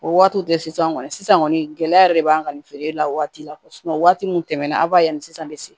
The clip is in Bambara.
O waatiw de sisan kɔni sisan kɔni gɛlɛya de b'an kan nin feere la waati la waati mun tɛmɛ na aw b'a yan ni sisan bɛ se